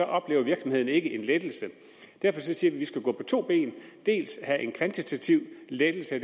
oplever virksomheden ikke en lettelse derfor siger vi at vi skal gå på to ben dels have en kvantitativ lettelse af